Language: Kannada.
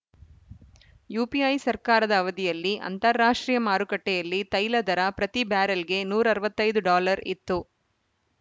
ಯುಪಿಐ ಸರ್ಕಾರದ ಅವಧಿಯಲ್ಲಿ ಅಂತಾರಾಷ್ಟ್ರೀಯ ಮಾರುಕಟ್ಟೆಯಲ್ಲಿ ತೈಲ ದರ ಪ್ರತಿ ಬ್ಯಾರೆಲ್‌ಗೆ ನೂರ ಅರವತ್ತ್ ಐದು ಡಾಲರ್‌ ಇತ್ತು